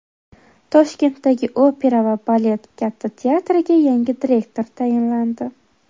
Toshkentdagi opera va balet Katta teatriga yangi direktor tayinlandi.